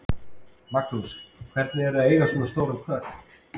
Magnús: Hvernig er að eiga svona stóran kött?